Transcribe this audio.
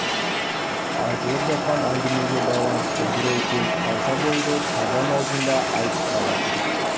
айтылып жатқан әңгімеге байланысты бір ой келіп қалса болды табан аузында айтып салатын